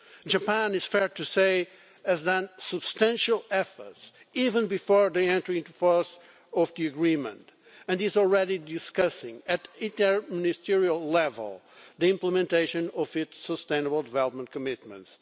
Japan, it is fair to say, has made substantial efforts, even before the entry into force of the agreement, and it is already discussing at inter-ministerial level the implementation of its sustainable development commitments.